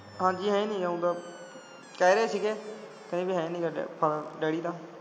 ਹਾਂਜੀ ਹੈ ਨੀ ਉਹ ਤਾਂ ਕਹਿ ਰਹੇ ਸੀ ਗੇ ਕਹਿੰਦੇ ਹੈ ਨੀ ਗਾ ਡੈਡੀ ਤਾਂ